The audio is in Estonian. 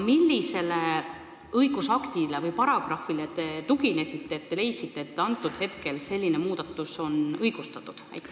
Millisele õigusaktile või paragrahvile te tuginesite, kui leidsite, et selline muudatus on praegu õigustatud?